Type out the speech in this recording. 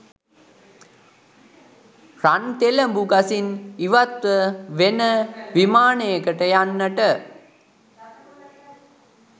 රන්තෙලඹු ගසින් ඉවත්ව වෙන විමානයකට යන්නට